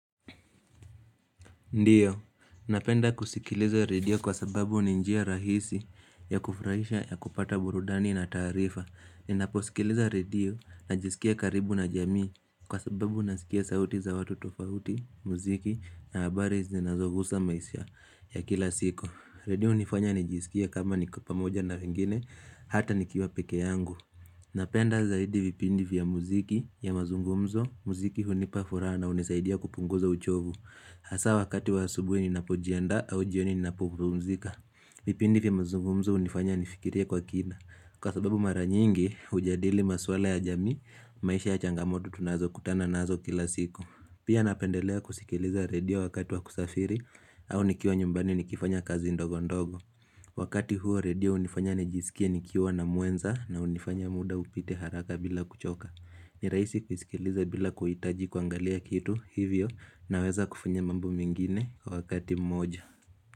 Ndiyo, napenda kusikiliza radio kwa sababu ni njia rahisi ya kufurahisha ya kupata burudani na taarifa. Ninaposikiliza radio najisikia karibu na jamii kwa sababu nasikia sauti za watu tofauti, muziki na habari zinazogusa maisa ya kila siku. Radio unifanya nijisikie kama niko pamoja na wengine, hata nikiwa peke yangu. Napenda zaidi vipindi vya muziki ya mazungumzo, muziki hunipa furaha na unisaidia kupunguza uchovu. Hasa wakati wa asubuhi ninapojiandaa au jioni ninapopumzika vipindi vya mzungumzo unifanya nifikirie kwa kina Kwa sababu mara nyingi hujadili maswala ya jamii maisha ya changamoto tunazokutana nazo kila siku Pia napendelea kusikiliza redio wakati wa kusafiri au nikiwa nyumbani nikifanya kazi ndogo ndogo Wakati huo redio unifanya nijisikie nikiwa na mwenza na unifanya muda upite haraka bila kuchoka ni raisi kuisikiliza bila kuhitaji kuangalia kitu hivyo naweza kufanya mambo mengine kwa wakati mmoja.